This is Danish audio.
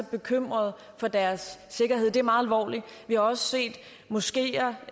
bekymret for deres sikkerhed det er meget alvorligt vi har også set moskeer